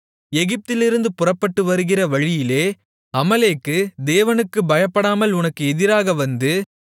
எகிப்திலிருந்து புறப்பட்டு வருகிற வழியிலே அமலேக்கு தேவனுக்குப் பயப்படாமல் உனக்கு எதிராக வந்து